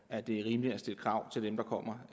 at det er rimeligt at stille krav til dem der kommer